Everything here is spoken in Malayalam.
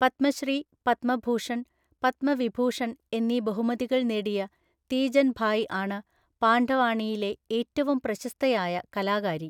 പത്മശ്രീ, പത്മഭൂഷൺ, പത്മവിഭൂഷൺ എന്നീ ബഹുമതികൾ നേടിയ തീജൻ ഭായ് ആണ് പാണ്ഡവാണിയിലെ ഏറ്റവും പ്രശസ്തയായ കലാകാരി.